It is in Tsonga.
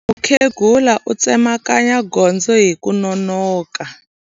Mukhegula u tsemakanya gondzo hi ku nonoka.